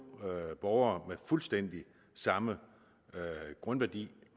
borgere med fuldstændig samme grundværdi